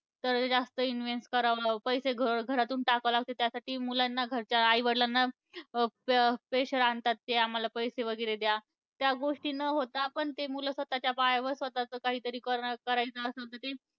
तर जास्त invest करावं, पैसे घर घरातून टाकावं लागतं. त्यासाठी मुलांना घरच्या आई वडिलांना प pressure आणतात ते आम्हाला पैसे वगैरे द्या. त्या गोष्टी न होता आपण ते मुलं स्वतः च्या पायावर स्वतःचं काहीतरी करणं करायचं असतं असं ते